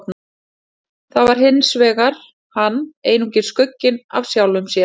Þar var hann hinsvegar einungis skugginn af sjálfum sér.